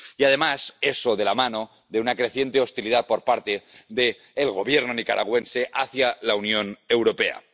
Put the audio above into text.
Y además, eso, de la mano de una creciente hostilidad por parte del Gobierno nicaragüense hacia la Unión Europea.